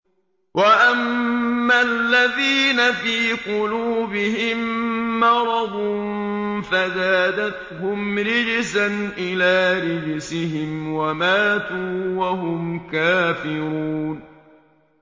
وَأَمَّا الَّذِينَ فِي قُلُوبِهِم مَّرَضٌ فَزَادَتْهُمْ رِجْسًا إِلَىٰ رِجْسِهِمْ وَمَاتُوا وَهُمْ كَافِرُونَ